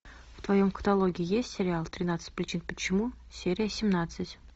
в твоем каталоге есть сериал тринадцать причин почему серия семнадцать